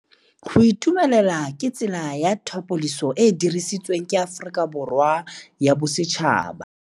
Go itumela ke tsela ya tlhapolisô e e dirisitsweng ke Aforika Borwa ya Bosetšhaba.